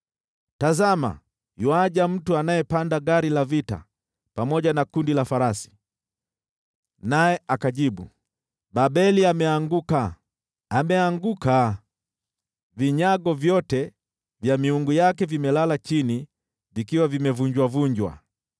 Tazama, yuaja mtu anayepanda gari la vita pamoja na kundi la farasi. Naye anajibu: ‘Babeli umeanguka, umeanguka! Vinyago vyote vya miungu yake vimelala chini vikiwa vimevunjwa!’ ”